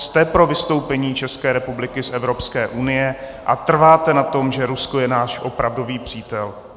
Jste pro vystoupení České republiky z Evropské unie a trváte na tom, že Rusko je náš opravdový přítel?